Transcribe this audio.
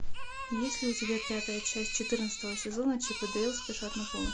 есть ли у тебя пятая часть четырнадцатого сезона чип и дейл спешат на помощь